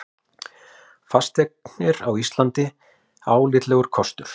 Fasteignir á Íslandi álitlegur kostur